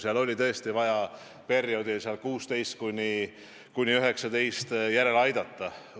Seal oli tõesti vaja perioodil 2016–2019 rahastust järele aidata.